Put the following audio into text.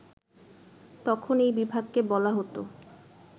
তখন এই বিভাগকে বলা হতো